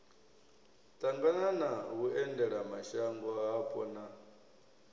ṱangana na vhuendelamashango hapo na